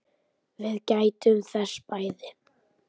Við gættum þess bæði.